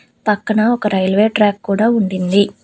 పక్కన ఒక railway track కూడా ఉండింది.